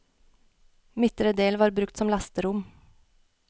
Midtre del var brukt som lasterom.